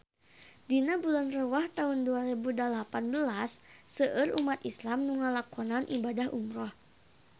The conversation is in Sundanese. Dina bulan Rewah taun dua rebu dalapan belas seueur umat islam nu ngalakonan ibadah umrah